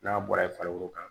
N'a bɔra yen farikolo kan